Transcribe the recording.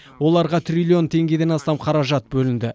оларға триллион теңгеден астам қаражат бөлінді